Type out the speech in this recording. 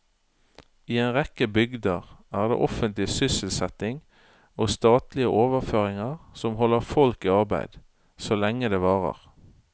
I en rekke bygder er det offentlig sysselsetting og statlige overføringer som holder folk i arbeid, så lenge det varer.